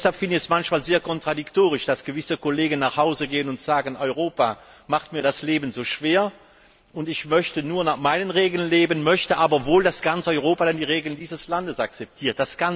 Deshalb finde ich es manchmal sehr kontradiktorisch, dass gewisse Kollegen nach Hause gehen und sagen Europa macht mir das Leben so schwer. Ich möchte nur nach meinen Regeln leben, möchte aber wohl, dass ganz Europa dann die Regeln dieses Landes akzeptiert.